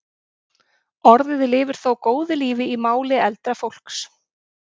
Orðið lifir þó góðu lífi í máli eldra fólks.